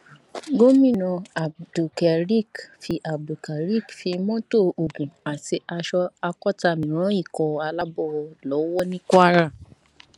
gomina abdulkareq fi abdulkareq fi mọtò ogun àti aṣọ akọtàmi ran ikọ aláàbọ lọwọ ní kwara